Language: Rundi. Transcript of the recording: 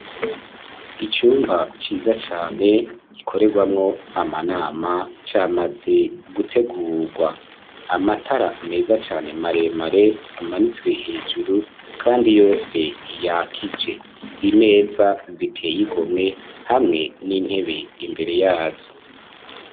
Icumba ciza cane, gikorerwamwo amanama, camaze gutegurwa; amatara meza cane, maremare, amanitswe hejuru, kandi yose yakije; imeza ziteye igomwe, hamwe n'intebe imbere yazo.